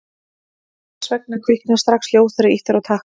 hvers vegna kviknar strax ljós þegar ýtt er á takka